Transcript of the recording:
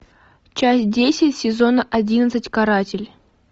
часть десять сезона одиннадцать каратель